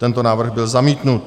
Tento návrh byl zamítnut.